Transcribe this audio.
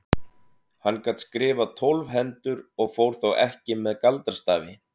Hann gat skrifað tólf hendur og fór þó ekki með galdrastafi.